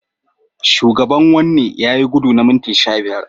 Shugaban wanni yayi gudu na minti sha biyar.